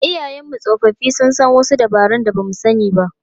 Iyayenmu tsofaffi sun san wasu dabarun da ba mu sani ba.